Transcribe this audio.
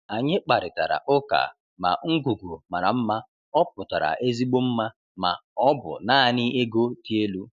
Anyị kparịtara ụka ma ngwugwu mara mma ọ pụtara ezigbo mma ma ọ bụ naanị ego dị elu.